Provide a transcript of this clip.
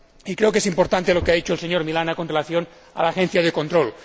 Creo que es importante lo que ha dicho el señor Milana con relación a la agencia de control.